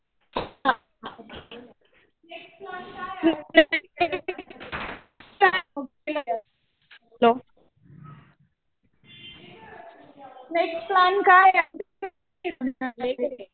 Next plan काय आहे?